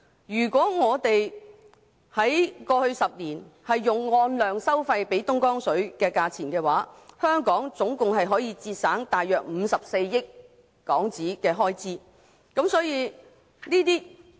如過去10年用按量收費方式支付東江水的話，香港合共可節省大約54億港元的開支。